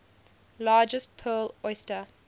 largest pearl oyster